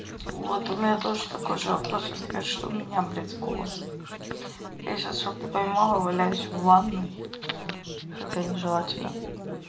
вот у меня тоже такой же вопрос возникает что у меня блядь с голосом я сейчас что то поймала валяюсь в ванной хотя нежелательно